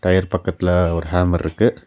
Tyre பக்கத்ல ஒரு hammer இருக்கு.